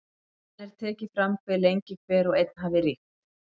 Jafnan er tekið fram hve lengi hver og einn hafi ríkt.